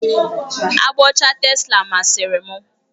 Agba ọcha tesla masịrị m.